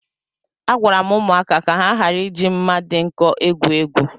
Agwara m ụmụaka ka ha ghara ị ji mma dị nkọ egwu egwu